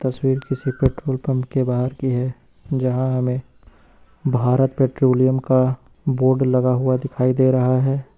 तस्वीर किसी petrol pump के बाहर की है जहां हमें भारत पेट्रोलियम का बोर्ड लगा हुआ दिखाई दे रहा है।